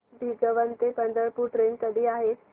भिगवण ते पंढरपूर ट्रेन कधी आहे